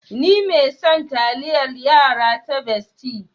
Ni mai son taliayar yara ta Bestie.